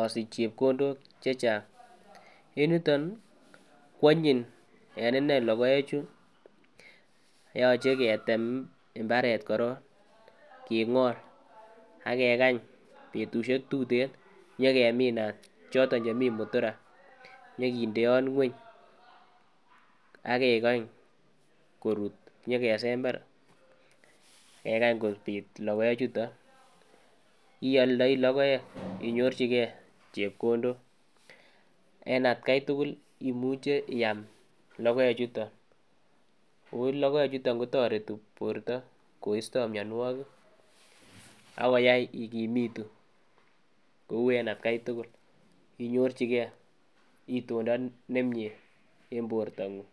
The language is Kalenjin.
osich chepkondok chechang. En yuton nii kwanyiny en inee lokoek chuu yoche ketem imbaret korong kingol ak kekany betushek tuten nyokeminat choton chemii mutura nyokindeot ngueny ak kekanch korut nyokesember kekany kopit lokoek chuton ioldoi lokoek inyorchi gee chepkondok en atgai tukuk imuche iamm lokoek chuton en atgai tukul kotoreti borto koisto mionwokik akoyai ikimitu kou en atgai tukul ak inyorchigee itondo nemie en borto nguny.